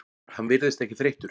Hann virðist ekki þreyttur.